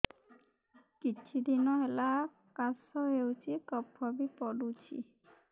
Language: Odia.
କିଛି ଦିନହେଲା କାଶ ହେଉଛି କଫ ବି ପଡୁଛି